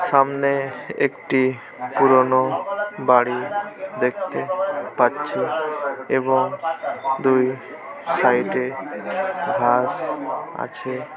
সামনে একটি পুরনো বাড়ি দেখতে পাচ্ছি এবং দুই সাইড এ ঘাস আছে।